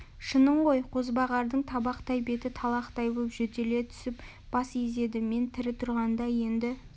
шының ғой қозбағардың табақтай беті талақтай боп жөтеле түсіп бас изеді мен тірі тұрғанда енді